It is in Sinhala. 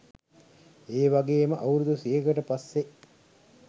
ඒවගේම අවුරුදු සීයකට පස්සේ